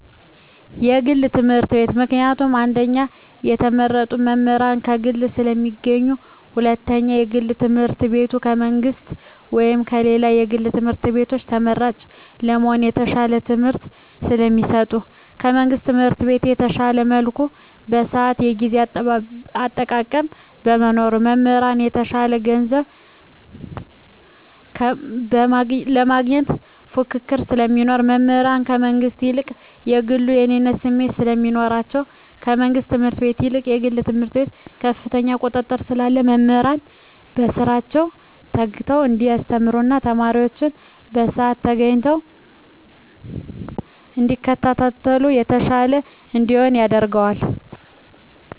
የግል ትምህርት ቤት። ምክንያቱም አንደኛ የተመረጡ መምህራን ከግል ስለሚገኙ ሁለተኛ የግል ትምህርት ቤቱ ከመንግስት ወይም ከሌሎች የግል ትምህርት ቤቶች ተመራጭ ለመሆን የተሻለ ትምህርት ስለሚሰጡ። ከመንግስት ትምህርት ቤት በተሻለ መልኩ የስአት የጊዜ አጠቃቀም በመኖሩ። መምህራን የተሻለ ገንዘብ ለማግኘት ፉክክር ስለሚኖር። መምህራን ከመንግስት ይልቅ ከግሉ የእኔነት ስሜት ስለሚኖራቸዉ። ከመንግስት ትምህርት ቤት ይልቅ የግል ትምህርት ቤት ከፍተኛ ቁጥጥር ስላለ መምህራን በስራቸዉ ተግተዉ እንዲያስተምሩ ተማሪወችም በስአታቸዉ ተገኝተዉ እንዲከታተሉ የተሻለ እንዲሆን ያደርጋል።